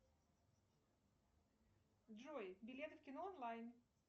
джой билеты в кино онлайн